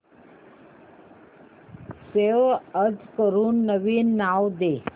save as करून नवीन नाव दे